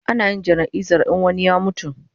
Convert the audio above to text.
Ana yin jana'izar in wani ya mutu